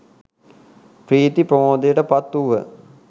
ප්‍රීති ප්‍රමෝදයට පත් වූහ.